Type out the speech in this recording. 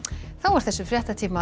þessum fréttatíma